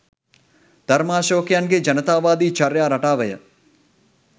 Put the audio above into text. ධර්මාශෝකයන්ගේ ජනතාවාදි චර්යා රටාවය